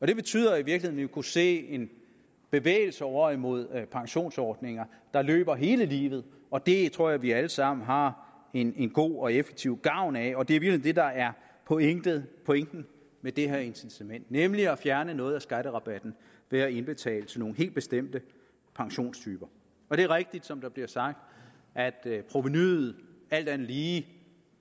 det betyder i virkeligheden kunne se en bevægelse over imod pensionsordninger der løber hele livet og det tror jeg vi alle sammen har en god og effektiv gavn af og det er i virkeligheden det der er pointen pointen med det her incitament nemlig at fjerne noget af skatterabatten ved at indbetale til nogle helt bestemte pensionstyper det er rigtigt som der bliver sagt at provenuet alt andet lige